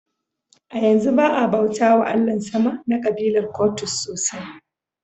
A yanzu ba a bauta wa Allahn sama na kabilar Kwottos sosai ba.